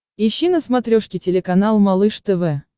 ищи на смотрешке телеканал малыш тв